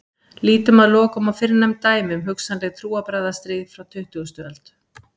Lítum að lokum á fyrrnefnd dæmi um hugsanleg trúarbragðastríð frá tuttugustu öld.